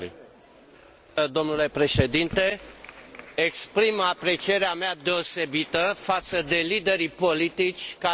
Exprim aprecierea mea deosebită față de liderii politici care au luat decizii grele, dar necesare.